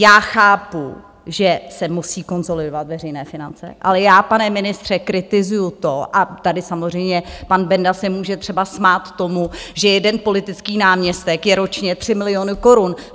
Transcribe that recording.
Já chápu, že se musí konsolidovat veřejné finance, ale já, pane ministře, kritizuji to, a tady samozřejmě pan Benda se může třeba smát tomu, že jeden politický náměstek je ročně 3 miliony korun.